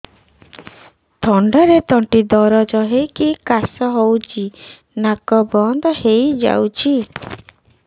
ଥଣ୍ଡାରେ ତଣ୍ଟି ଦରଜ ହେଇକି କାଶ ହଉଚି ନାକ ବନ୍ଦ ହୋଇଯାଉଛି